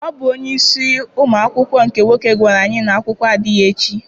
Ọ bụ onyeisi ụmụ akwụkwọ nke nwoke gwara anyị na akwụkwọ adịghị echi.